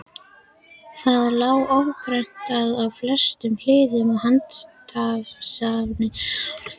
Það lá óprentað og flestum hulið í handritasafni Árna.